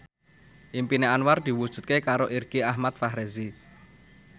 impine Anwar diwujudke karo Irgi Ahmad Fahrezi